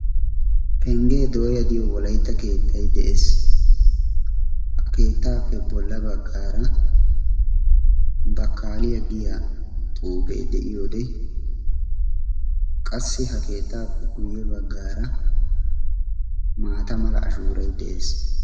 penggee dooya diyo wolaytta keettay de7ees. ha keettaappe bolla baggaara bakkaaliyaa giya xuufee de7iyoode qassi ha keettaappe guyye baggaara maata mala ashuuray de7ees.